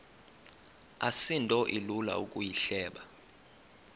asinto ilula ukuyihleba